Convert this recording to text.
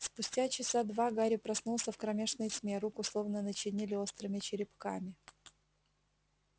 спустя часа два гарри проснулся в кромешной тьме руку словно начинили острыми черепками